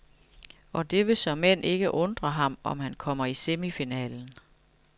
Og det vil såmænd ikke undre ham, om han kommer i semifinalen.